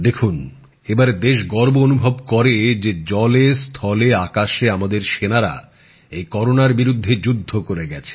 দেখুন এবারে দেশ গর্ব অনুভব করছে যে জলে স্থলে আকাশে আমাদের সেনারা এই করোনার বিরুদ্ধে যুদ্ধ করে গেছে